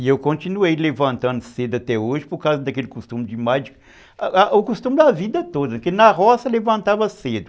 E eu continuei levantando cedo até hoje por causa daquele costume de mais... O costume da vida toda, porque na roça levantava cedo.